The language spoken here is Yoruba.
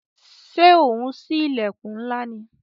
Ṣé ò ń sí ilẹkun ńlá ni?